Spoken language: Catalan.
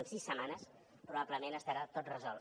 en sis setmanes probablement estarà tot resolt